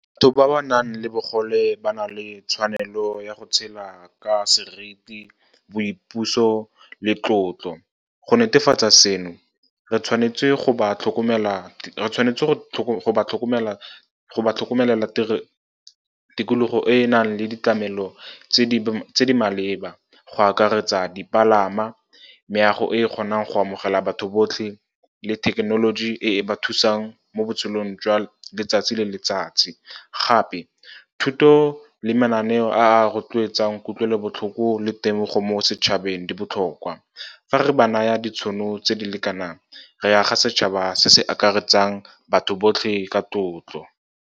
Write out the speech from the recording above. Batho ba ba nang le bogole ba na le tshwanelo ya go tshela ka seriti, boipuso le tlotlo. Go netefatsa seno, re tshwanetse go ba tlhokomela le tikologo e e nang le ditlamelo tse di maleba, go akaretsa dipalama, meago e kgonang go amogela batho botlhe le thekenoloji e ba thusang mo botshelong jwa letsatsi le letsatsi. Gape, thuto le mananeo a a rotloetsang kutlwelobotlhoko le temogo mo setšhabeng di botlhokwa. Fa re ba naya ditšhono tse di lekanang, re aga setšhaba se se akaretsang batho botlhe ka tlotlo.